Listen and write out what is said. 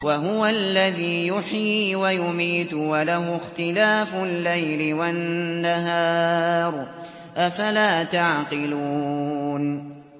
وَهُوَ الَّذِي يُحْيِي وَيُمِيتُ وَلَهُ اخْتِلَافُ اللَّيْلِ وَالنَّهَارِ ۚ أَفَلَا تَعْقِلُونَ